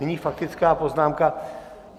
Nyní faktická poznámka...